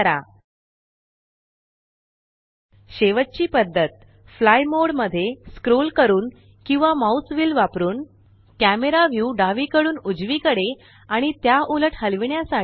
camera view डावीकडून उजवीकडे आणि त्या उलट हलविण्यासाठी शेवटची पद्धत फ्लाय मोड मध्ये स्क्रोल करून किंवा माउस व्हील वापरणे ही आहे